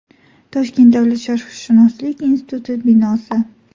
Toshkent davlat sharqshunoslik instituti binosi.